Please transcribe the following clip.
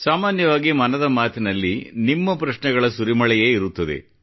ಸಾಮಾನ್ಯವಾಗಿ ಮನದ ಮಾತಿನಲ್ಲಿ ನಿಮ್ಮ ಪ್ರಶ್ನೆಗಳ ಸುರಿಮಳೆಯೇ ಇರುತ್ತದೆ